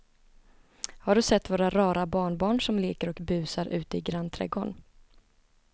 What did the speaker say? Har du sett våra rara barnbarn som leker och busar ute i grannträdgården!